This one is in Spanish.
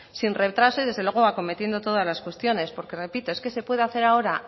sin retraso y desde luego acometiendo todas las cuestiones porque repito es que se puede hacer ahora